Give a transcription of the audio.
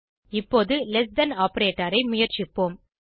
இப்போது less than operator ஐ முயற்சிப்போம்